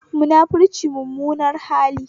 Munafunci mummunar hali